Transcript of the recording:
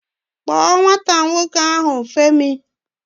Kpọọ nwata nwoke ahụ, Femi!